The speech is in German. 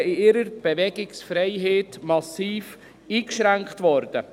Sie wären in ihrer Bewegungsfreiheit massiv eingeschränkt worden.